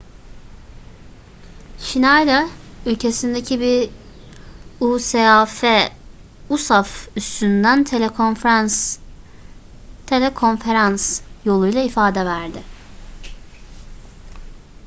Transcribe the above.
schneider ülkesindeki bir usaf üssünden telekonferans yoluyla ifade verdi